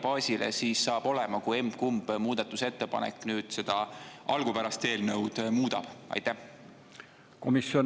Kui suur mõju saab sellel olema valijabaasile, kui emb-kumb muudatusettepanek seda algupärast eelnõu muudab?